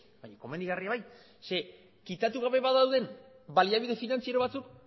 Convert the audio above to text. baina komenigarria bai ze kitatu gabe badaude baliabide finantziero batzuk